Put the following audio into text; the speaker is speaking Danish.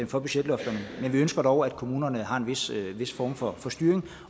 for budgetlofterne men vi ønsker dog at kommunerne har en vis form for styring